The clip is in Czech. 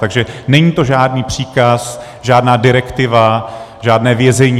Takže není to žádný příkaz, žádná direktiva, žádné vězení.